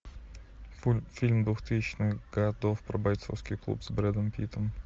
фильм двухтысячных годов про бойцовский клуб с брэдом питтом